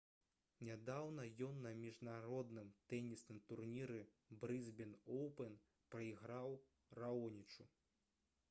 нядаўна ён на міжнародным тэнісным турніры «брысбен оўпэн» прайграў раонічу